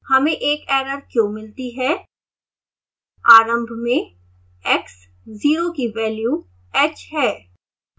हमें एक एरर क्यों मिलती है